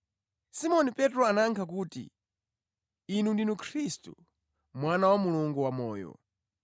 Simoni Petro anayankha kuti, “Inu ndinu Khristu, Mwana wa Mulungu wamoyo.”